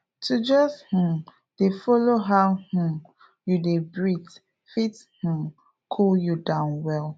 to just um dey follow how um you dey breathe fit um cool you down well